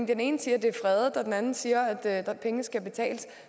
den ene siger at det er fredet og den anden siger at pengene skal betales